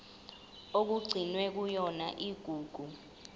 okugcinwe kuyona igugu